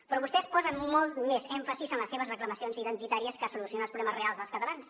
però vostès posen molt més èmfasi en les seves reclamacions identitàries que a solucionar els problemes reals dels catalans